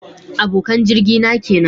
Abokan jirgi na kenan